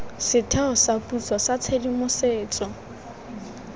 setheo sa puso sa tshedimosetso